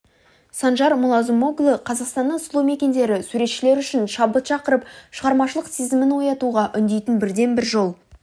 санжар мулазымоглу қазақстанның сұлу мекендері суретшілер үшін шабыт шақырып шығармашылық сезімін оятуға үндейтін бірден-бір жол